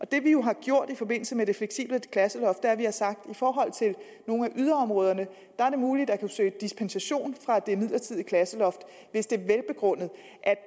det vi jo har gjort i forbindelse med det fleksible klasseloft er at vi har sagt at det i forhold til nogle af yderområderne er muligt at søge dispensation fra det midlertidige klasseloft hvis det er velbegrundet